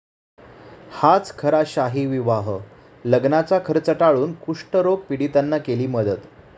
हाच खरा 'शाहीविवाह'!,लग्नाचा खर्च टाळून कुष्ठरोग पीडितांना केली मदत